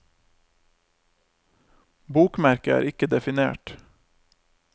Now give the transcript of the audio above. Bokmerke er ikke definert.